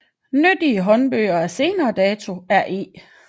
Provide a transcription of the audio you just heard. Nyttige håndbøger af senere dato er E